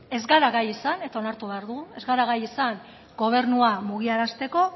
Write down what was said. ez gara gai izan eta onartu behar dugu ez gara gai izan gobernua mugiarazteko